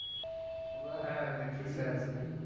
হ্যাঁ netflix এ আছে দেখে নেব।